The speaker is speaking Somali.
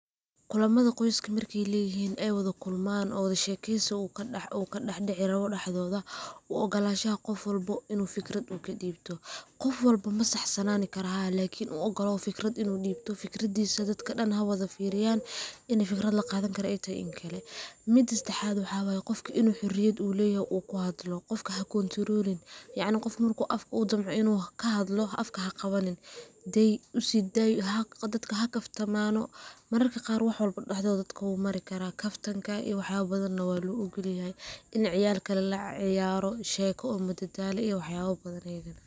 Kulamada qoyska markay leyixin ay wadakulman oo wada shekeysi ukadaxdici rawoo daxdoda, uogolashaxa gofwalba inu fikrad uu kadibto, gofwalbo masaxsasanani karo, lakin uogolaw fikrad in udibto, fikradisa dadka dan xawadafiriyan, ini fikrad lagadani karo ay taxay iyo inkale, mida sadaxat waxa waye gofka inu xoriyad uleyoxo uu kuxadlo, gofka haka control yacni gof udamco inu xadlo afka xaqawanin, dey usiday dadka xakaftamano, mararka qaar wax walbo daxdoda wumarikara kaftanka iyo waxyabo badan waloogolyaxay, in ciyalka lalaciyaro sheko oo madadalo eh, waxyalo badan ayadana.